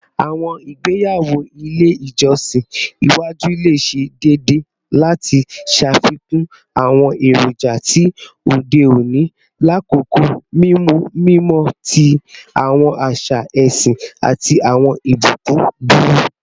Awọn igbeyawo ile ijọsin iwaju le ṣe deede lati ṣafikun awọn eroja ti ode oni lakoko mimu mimọ ti awọn aṣa ẹsin ati awọn ibukun duro